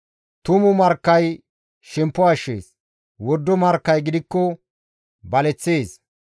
Tumu markkay shemppo ashshees; wordo markkay gidikko baleththees.